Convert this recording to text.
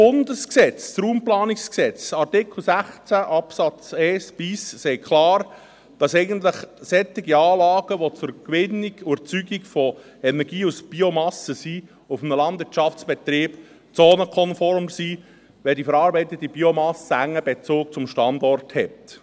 Das Bundesgesetz über die Raumplanung (Raumplanungsgesetz, RPG) – Artikel 16a Absatz 1 – sagt klar, dass eigentlich solche Anlagen, die der Gewinnung und Erzeugung von Energie aus Biomasse dienen, auf einem Landwirtschaftsbetrieb zonenkonform sind, wenn die verarbeitete Biomasse einen engen Bezug zum Standort hat.